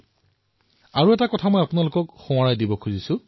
হয় মই পুনৰবাৰ আপোনালোকক মনত পেলাই দিবলৈ বিচাৰিছো